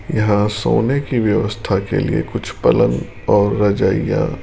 यहां सोने की व्यवस्था के लिए कुछ पलंग और रजाईयां--